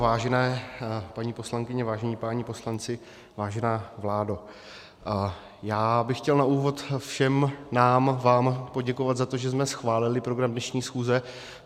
Vážené paní poslankyně, vážení páni poslanci, vážená vládo, já bych chtěl na úvod všem nám, vám poděkovat za to, že jsme schválili program dnešní schůze.